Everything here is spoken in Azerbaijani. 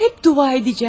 Həmişə dua edəcəm.